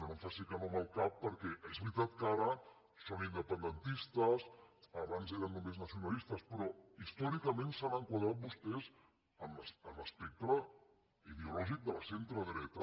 no em faci que no amb el cap perquè és veritat que ara són independentistes abans eren només nacionalistes però històricament s’han enquadrat vostès en l’espectre ideològic del centre dreta